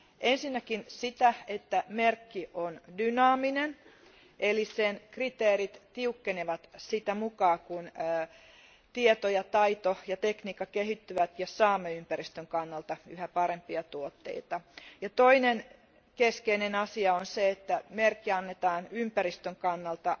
Ensinnäkin sitä, että merkki on dynaaminen eli sen kriteerit tiukkenevat sitä mukaa, kun tieto ja taito ja tekniikka kehittyvät ja saamme ympäristön kannalta yhä parempia tuotteita. Toinen keskeinen asia on se, että merkki annetaan vain ympäristön kannalta